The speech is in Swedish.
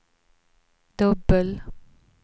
dubbel